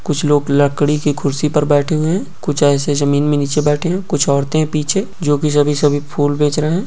कुछ लोग लकड़ी की कुर्सी पर बैठे हुए हैं कुछ ऐसे ही जमीन में निचे बैठे हैं | कुछ औरते हैं पीछे जो की सभी सभी फूल बेच रहे हैं ।